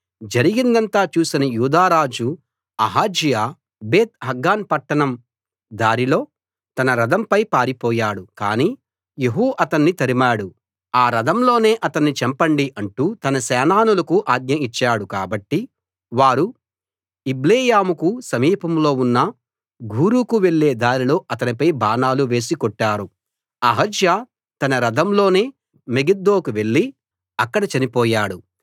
జరిగిందంతా చూసిన యూదా రాజు అహజ్యా బేత్ హగ్గాన్ పట్టణం దారిలో తన రథం పై పారిపోయాడు కానీ యెహూ అతణ్ణి తరిమాడు ఆ రథంలోనే అతణ్ణి చంపండి అంటూ తన సేనానులకు ఆజ్ఞ ఇచ్చాడు కాబట్టి వారు ఇబ్లెయాముకు సమీపంలో ఉన్న గూరుకు వెళ్ళే దారిలో అతనిపై బాణాలు వేసి కొట్టారు అహజ్యా తన రథంలోనే మెగిద్దోకు వెళ్ళి అక్కడ చనిపోయాడు